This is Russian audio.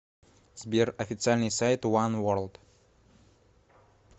сбер официальный сайт уан ворлд